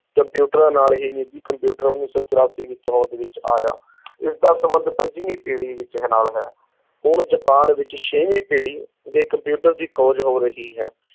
ਕੰਪਿਊਟਰਾਂ ਨਾਲ ਹੀ ਨਿੱਜੀ ਕੰਪਿਊਟਰ ਉੱਨੀ ਸੌ ਚੁਰਾਸੀ ਵਿੱਚ ਹੋਂਦ ਵਿੱਚ ਆਇਆ ਇਸਦਾ ਸੰਬੰਧ ਪੰਜਵੀਂ ਪੀੜ੍ਹੀ ਵਿੱਚ ਹੈ, ਨਾਲ ਹੈ, ਹੁਣ ਜਾਪਾਨ ਵਿੱਚ ਛੇਵੀਂ ਪੀੜੀ ਦੇ ਕੰਪਿਊਟਰ ਦੀ ਖੋਜ ਹੋ ਰਹੀ ਹੈ,